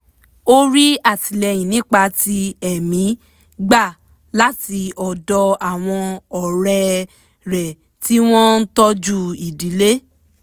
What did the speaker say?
ó rí àtìlẹ́yìn nípa ti ẹ̀mí gbà láti ọ̀dọ̀ àwọn ọ̀rẹ́ rẹ̀ tí wọ́n ń tọ́jú ìdílé